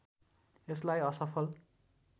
यसलाई असफल